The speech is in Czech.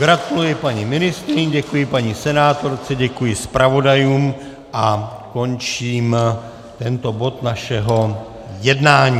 Gratuluji paní ministryni, děkuji paní senátorce, děkuji zpravodajům a končím tento bod našeho jednání.